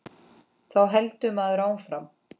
Þá heldur maður áfram.